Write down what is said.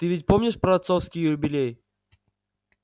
ты ведь помнишь про отцовский юбилей